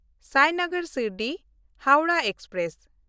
ᱥᱟᱭᱱᱚᱜᱚᱨ Shirdi-Howrah express